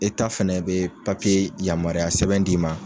fɛnɛ bɛ yamaruya sɛbɛn d'i ma.